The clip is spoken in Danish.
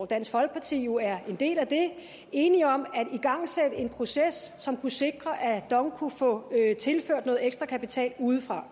dansk folkeparti jo er en del af enige om at igangsætte en proces som kunne sikre at dong kunne få tilført noget ekstra kapital udefra